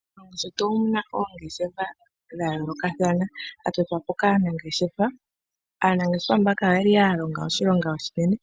Moshilongo shetu omu na oongeshefa odhindji ndhoka dha tototwa po kaanangeshefa ,aanangeshefa oya longa oshilonga oshinene,